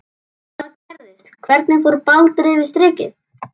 Hvað gerðist, hvernig fór Baldur yfir strikið?